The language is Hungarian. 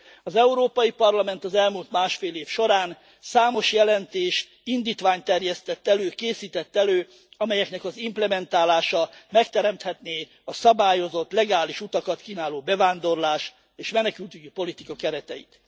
Az Európai Parlament az elmúlt másfél év során számos jelentést, indítványt terjesztett elő, készített elő, amelyeknek az implementálása megteremthetné a szabályozott legális utakat kínáló bevándorlás és menekültügyi politika kereteit.